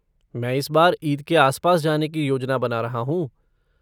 मैं इस बार ईद के आसपास जाने की योजना बना रहा हूँ।